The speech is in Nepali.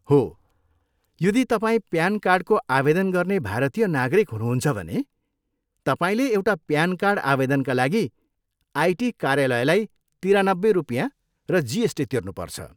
हो, यदि तपाईँ प्यान कार्डको आवेदन गर्ने भारतीय नागरिक हुनुहुन्छ भने, तपाईँले एउटा प्यान कार्ड आवेदनका लागि आइटी कार्यालयलाई तिरानब्बे रुपियाँ र जिएसटी तिर्नुपर्छ।